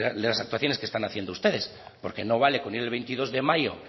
de las actuaciones que están haciendo ustedes porque no vale con ir el veintidós de mayo